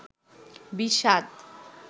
বিষাদ